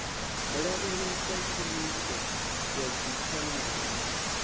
lavhelesa tshumiso ya dzipfanelo na